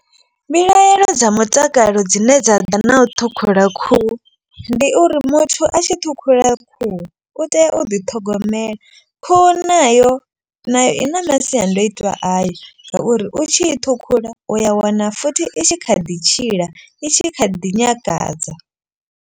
Mbilaelo dza mutakalo dzine dza ḓa na u ṱhukhula khuhu. Ndi uri muthu a tshi ṱhukhula khuhu u tea u ḓiṱhogomela. Khuhu nayo nayo i na masiandoitwa ayo ngauri u tshi i ṱhukhula u ya wana futhi i tshi kha ḓi tshila i tshi kha ḓi nyakadza.